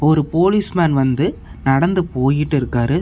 ஒரு policeman வந்து நடந்து போய்க்கிட்டு இருக்காரு.